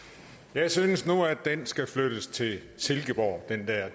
jeg synes nu at den skal flyttes til silkeborg